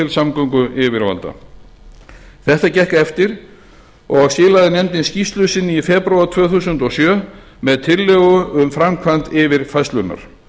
samgönguyfirvalda þetta gekk eftir og í skilaði nefndin skýrslu sinni í febrúar tvö þúsund og sjö með tillögum um framkvæmd yfirfærslunnar